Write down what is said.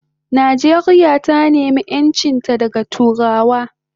Nijeria ta nema enchinta daga turawa